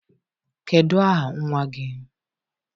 Kedu aha nwa gị?